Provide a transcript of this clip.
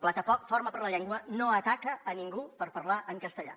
plataforma per la llengua no ataca a ningú per parlar en castellà